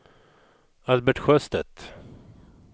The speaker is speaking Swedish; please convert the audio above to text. Albert Sjöstedt